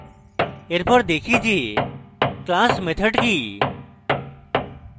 এরপর দেখি যে class methods কি